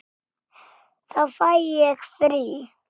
Þá fæ ég frí.